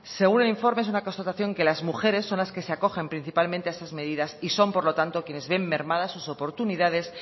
según el informe es una constatación que las mujeres son las que se acogen principalmente a estas medidas y son por lo tanto quienes ven mermadas sus oportunidades